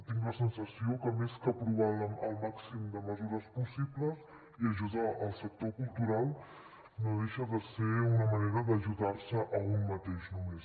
tinc la sensació que més que aprovar el màxim de mesures possibles i ajudar el sector cultural no deixa de ser una manera d’ajudar se a un mateix només